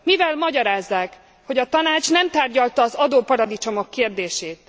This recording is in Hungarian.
Mivel magyarázzák, hogy a Tanács nem tárgyalta az adóparadicsomok kérdését?